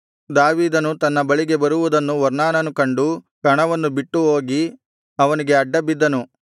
ದಾವೀದನು ತನ್ನ ಬಳಿಗೆ ಬರುವುದನ್ನು ಒರ್ನಾನನು ಕಂಡು ಕಣವನ್ನು ಬಿಟ್ಟು ಹೋಗಿ ಅವನಿಗೆ ಅಡ್ಡ ಬಿದ್ದನು